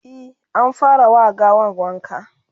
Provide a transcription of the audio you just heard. e an fara wa gawan wanka